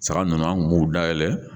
Saga nunnu an kun b'u dayɛlɛ.